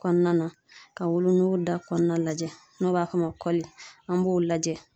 Kɔnɔna na, ka wolonugu da kɔnɔna lajɛ ,n'o b'a fɔ o ma kɔli , an b'o lajɛ.